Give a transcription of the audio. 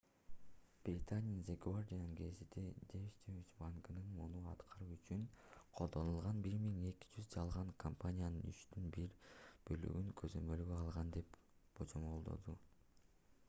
британиянын the guardian гезити deutsche банкынын муну аткаруу үчүн колдонулган 1200 жалган компаниянын үчтөн бир бөлүгүн көзөмөлгө алган деп божомолдоду